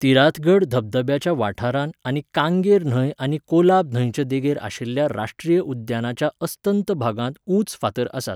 तिराथगढ धबधब्याच्या वाठारांत आनी कांगेर न्हंय आनी कोलाब न्हंयचे देगेर आशिल्ल्या राश्ट्रीय उद्यानाच्या अस्तंत भागांत उंच फातर आसात.